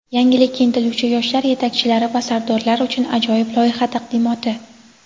Yangilikka intiluvchi yoshlar yetakchilari va sardorlar uchun ajoyib loyiha taqdimoti.